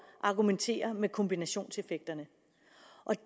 at argumentere med kombinationseffekterne